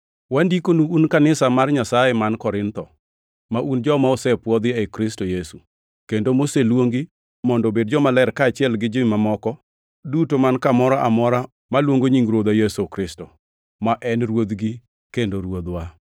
Wandikonu un kanisa mar Nyasaye man Korintho, ma un joma osepwodhi ei Kristo Yesu, kendo moseluongi mondo obed jomaler kaachiel gi ji mamoko duto man kamoro amora maluongo nying Ruodhwa Yesu Kristo, ma en Ruodhgi kendo Ruodhwa: